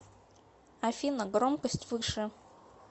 афина громкость выше